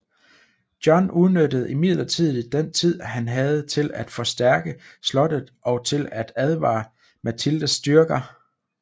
John udnyttede imidlertid den tid han havde til at forstærke slottet og til at advare Matildes styrker